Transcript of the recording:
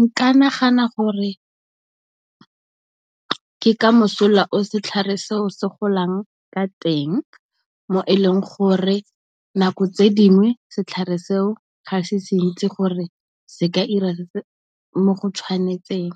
Nka nagana gore ke ka mosola o setlhare seo se golang ka teng, mo e leng gore nako tse dingwe setlhare seo ga se se ntsi gore se ka ira mo go tshwanetseng.